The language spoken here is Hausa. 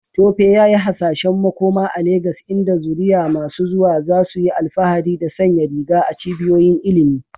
Tope yayi hasashen makoma a Legas inda zuriya masu zuwa za su yi alfahari da sanya riga a cibiyoyin ilimi.